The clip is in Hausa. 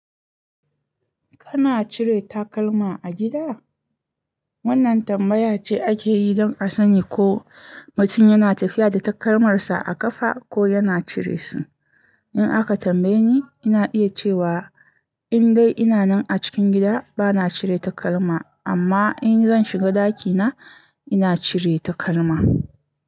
Kana cire takalma a gida? Wannan tambaya ce ake yi don a sani ko mutum yana tafiya da takalmarsa a ƙafa ko yana cire su. In aka tambaye ni, ina iya cewa in dai ina nan a cikin gida, bana cire takalma, amma in zan shiga ɗakina, ina cire takalma.